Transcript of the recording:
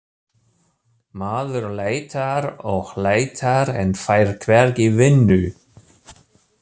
Maður leitar og leitar en fær hvergi vinnu